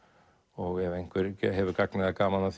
og ef einhver hefur gagn eða gaman af